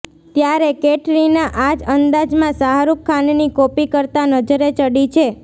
ત્યારે કૈટરીના આ જ અંદાજમાં શાહરુખ ખાનની કોપી કરતા નજરે ચડી છે